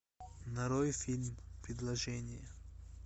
нарой фильм предложение